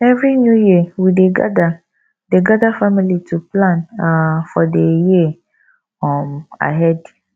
every new year we dey gather dey gather family to plan um for the year um ahead